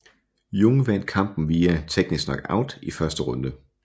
Jung vandt kampen via TKO i første runde